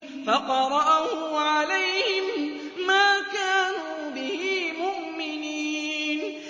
فَقَرَأَهُ عَلَيْهِم مَّا كَانُوا بِهِ مُؤْمِنِينَ